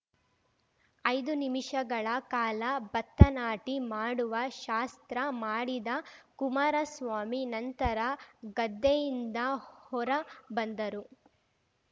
ಐದು ನಿಮಿಷಗಳ ಕಾಲ ಭತ್ತ ನಾಟಿ ಮಾಡುವ ಶಾಸ್ತ್ರ ಮಾಡಿದ ಕುಮಾರಸ್ವಾಮಿ ನಂತರ ಗದ್ದೆಯಿಂದ ಹೊರ ಬಂದರು